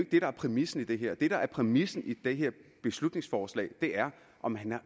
det der er præmissen i det her præmissen i det her beslutningsforslag er om